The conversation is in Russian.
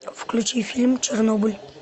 включи фильм чернобыль